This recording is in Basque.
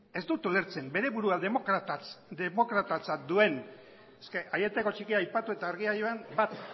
ez dut ulertzen bere burua demokratatzat duen es que aieteko txikia aipatu eta argia joan bat